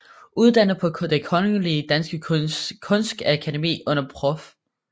Uddannet på Det Kongelige Danske Kunstakademi under prof